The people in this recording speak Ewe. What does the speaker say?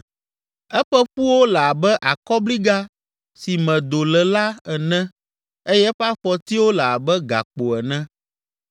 Eƒe ƒuwo le abe akɔbliga si me do le la ene eye eƒe afɔtiwo le abe gakpo ene.